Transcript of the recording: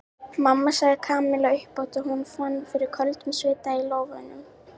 Mamma sagði Kamilla upphátt og hún fann fyrir köldum svita í lófunum.